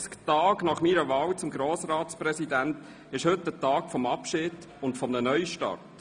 372 Tage nach meiner Wahl zum Grossratspräsidenten ist heute der Tag des Abschieds, und eines Neustarts.